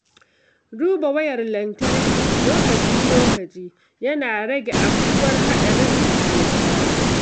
Duba wayar lantarki lokaci-lokaci yana rage afkuwar haɗarin gobara.